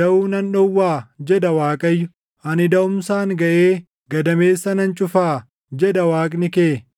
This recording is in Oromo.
daʼuu nan dhowwaa?” jedha Waaqayyo. “Ani daʼumsaan gaʼee gadameessa nan cufaa?” jedha Waaqni kee.